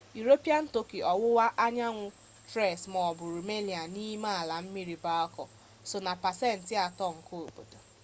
iropian tọki ọwụwa anyanwụ tres maọbụ rumelia n'ime ala mmiri balka so na pasent 3 nke obodo